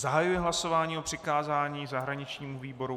Zahajuji hlasování o přikázání zahraničnímu výboru.